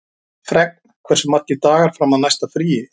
Fregn, hversu margir dagar fram að næsta fríi?